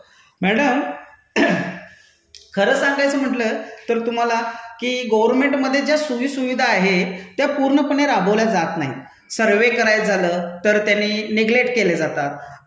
Madam, ing खर सांगायचं म्हटलं तर तुम्हाला की गर्व्हनमेंटमधे ज्या सोयीसुविधा आहे त्या पूर्णपणे राबवल्या जात नाहीत. सर्व्हे करायचं झालं तर त्यांनी नेग्लेक्ट केले जातात,